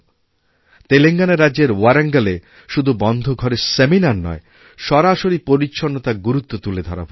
তেলেঙ্গানা রাজ্যের ওয়ারাঙ্গালে শুধু বন্ধ ঘরে সেমিনারনয় সরাসরি পরিচ্ছন্নতার গুরুত্ব তুলে ধরা হয়েছে